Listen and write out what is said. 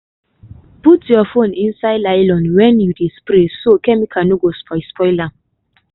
put your phone inside nylon when you dey spray so chemical no go spoil spoil am.